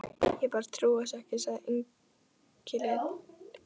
Ég bara trúi þessu ekki, sagði Engillinn, og